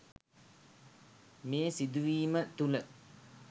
මේ සිදුවීම තුළ